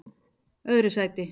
öðru sæti